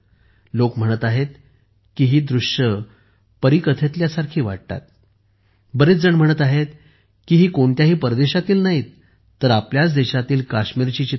लोक म्हणत आहेत की ही दृश्ये परीकथेतील आहेत बरेच जण म्हणत आहेत की ही कोणत्याही परदेशातील नाही तर आपल्याच देशातील काश्मीरची चित्रे आहेत